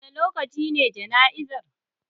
Wane lokaci ne jana'izar?